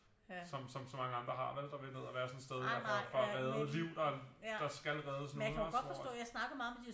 Som så mange andre har vel der vil ned og være sådan et sted dér for at redde liv der skal reddes nu ikke også hvor at